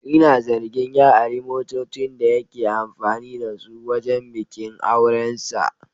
Ina zargin ya ari motocin da yake amfani da su wajen bikin aurensa.